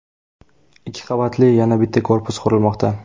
Ikki qavatli yana bitta korpus qurilmoqda.